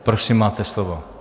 Prosím, máte slovo.